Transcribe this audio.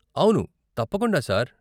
అవును, తప్పకుండా సార్.